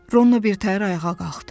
Ronno birtəhər ayağa qalxdı.